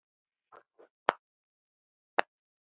Þær væru orðnar nógu gamlar.